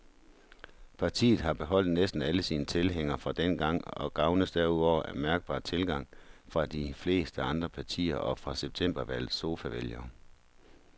Partiet har beholdt næsten alle sine tilhængere fra dengang og gavnes derudover af mærkbar tilgang fra de fleste andre partier og fra septembervalgets sofavælgere.